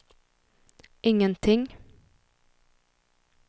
ingenting